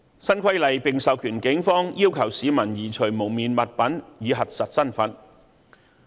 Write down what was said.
新規例並授權警方要求市民移除蒙面物品以核實身份。